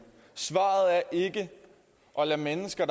svaret er ikke at lade mennesker